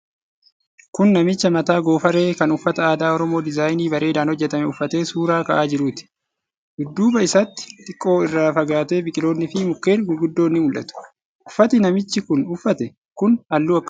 Kun namicha mataa goofaree kan uffata aadaa Oromoo diizaayinii bareedaan hojjatame uffatee suura ka'aa jiruuti. Dudduuba isaatti xiqqoo irraa fagaatee biqiloonni fi mukkeen gurguddoon ni mul'atu. Uffati namichi kun uffate kun halluu akkamii qaba?